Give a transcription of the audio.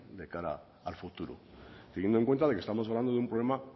de cara al futuro teniendo en cuenta de que estamos hablando de un problema